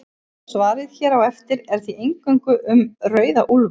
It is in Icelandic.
Svarið hér á eftir er því eingöngu um rauða úlfa.